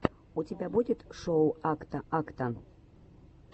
у тебя будет шоу акта акта